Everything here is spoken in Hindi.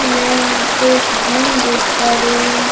मैं यहां पे एक जिम देख पा रही हूं।